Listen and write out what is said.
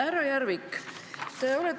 Härra Järvik!